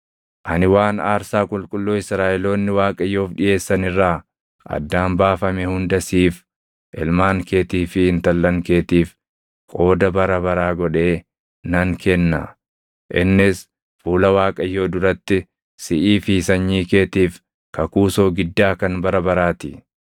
Ani waan aarsaa qulqulluu Israaʼeloonni Waaqayyoof dhiʼeessan irraa addaan baafame hunda siif, ilmaan keetii fi intallan keetiif qooda bara baraa godhee nan kenna. Innis fuula Waaqayyoo duratti siʼii fi sanyii keetiif kakuu soogiddaa kan bara baraa ti.”